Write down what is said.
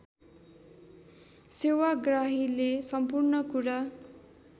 सेवाग्राहीले सम्पूर्ण कुरा